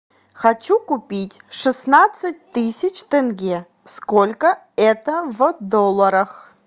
хочу купить шестнадцать тысяч тенге сколько это в долларах